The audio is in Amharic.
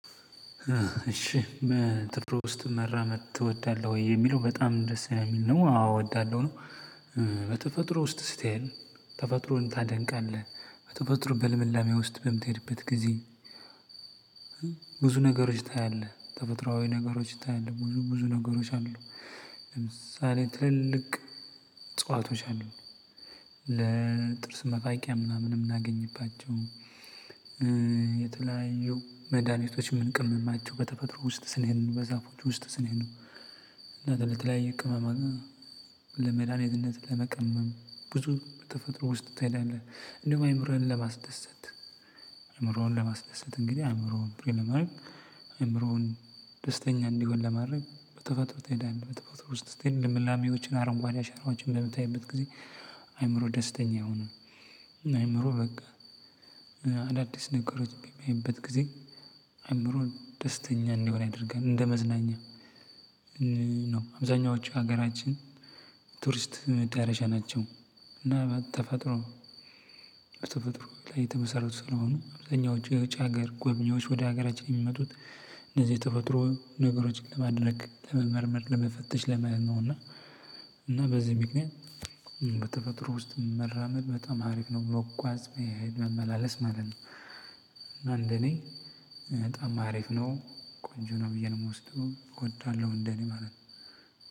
እሺ በኢትዮጵያ ውስጥ መራመድ ትወዳለህ ወይ? የሚለው በጣም ደስ የሚል ነው? አዎ እወዳለሁ። በተፈጥሮ ውስጥ ስትሄድ ተፈጥሮን ታደንቃለህ? በተፈጥሮ በልምላሜ ውስጥ በምትሄድበት ጊዜ። ብዙ ነገሮች ታያለህ ተፈጥሮአዊ ነገሮች ታያለህ ብዙ ብዙ ነገሮች አሉ። ለምሳሌ ትልልቅ እጸዋቶች አሉ። ለጥርስ መፋቂያ ምናምን የምናገኝባቸው። የተለያዩ መድኃኒቶች የምንቅምማቸው በተፈጥሮ ውስጥ ስንሄድ በዛፎች ውስጥ ስንሄድ ነው። እና ለተለያየ ቅመማ ለመዳኔትነት ለመቀመም ብዙ ተፈጥሮ ውስጥ ታይላለህ። እንደውም አይምሮህን ለማስደሰት አይምሮህን ለማስደሰት እንግዲህ አእምሮውን ፕሪል ለማድረግ አእምሮውን ደስተኛ እንዲሆን ለማድረግ በተፈጥሮ ትሄዳለህ በተፈጥሮ ውስጥ ትሄድ ልምላሜዎችን አረንጓዴ አሸራዎችን በምታይበት ጊዜ አይምሮ ደስተኛ አይሆንም። በቃ አዳዲስ ነገሮች በሚያይበት ጊዜ አይምሮን ደስተኛ እንደሆነ ያደርጋል እንደመዝናኛ ነው። አብዛኞቹ ሀገራችን ቱሪስት መዳረሻ ናቸው። እና በተፈጥሮ በተፈጥሮ ላይ የተመሰረቱ ስለሆነ አብዛኞቹ የውጭ ሀገር ጎብኝዎች ወደ ሀገራችን የሚመጡት እነዚህ ተፈጥሮ ነገሮችን ለማድነቅ ለመመርመር ለመፈተሽ ለማየት ነው። እና እና በዚህ ምክንያት በተፈጥሮ ውስጥ መራመድ በጣም ሀሪፍ ነው። መጓዝ መሄድ መመላለስ ማለት ነው። እና እንደኔ በጣም አሪፍ ነው። ቆንጆ ነው ብዬ ነው የምወስደው እወዳለሁ እንደኔ ማለት ነው።